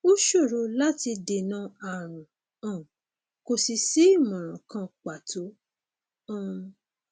ó ṣòro láti dènà ààrùn um kò sì sí ìmọràn kan pàtó um